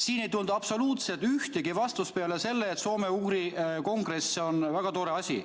Siin ei tulnud absoluutselt ühtegi vastust peale selle, et soome‑ugri kongress on väga tore asi.